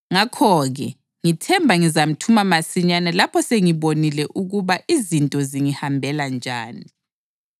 Ngakho-ke, ngithemba ngizamthuma masinyane lapho sengibonile ukuba izinto zingihambela njani.